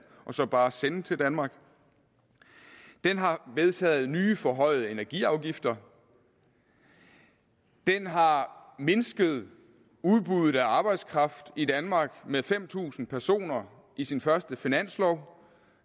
og så bare sende til danmark den har vedtaget nye forhøjede energiafgifter den har mindsket udbuddet af arbejdskraft i danmark med fem tusind personer i sin første finanslov